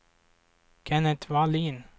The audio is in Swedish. Kenneth Wallin